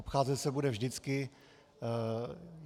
Obcházet se bude vždycky.